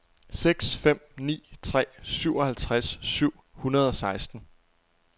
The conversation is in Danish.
seks fem ni tre syvoghalvtreds syv hundrede og seksten